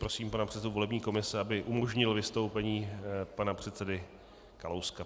Prosím pana předsedu volební komise, aby umožnil vystoupení pana předsedy Kalouska.